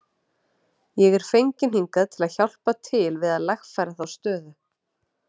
Ég er fenginn hingað til að hjálpa til við að lagfæra þá stöðu.